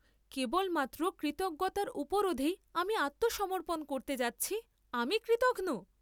কেবলমাত্র কৃতজ্ঞতার উপরোধেই আমি আত্মসমর্পণ করতে যাচ্ছি, আমি কৃতঘ্ন?